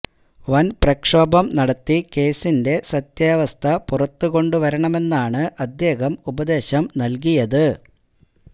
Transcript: വന് പ്രക്ഷോഭം നടത്തി കേസിന്റെ സത്യാവസ്ഥ പുറത്ത് കൊണ്ട് വരണമെന്നാണ് അദ്ദേഹം ഉപദേശം നല്കിയത്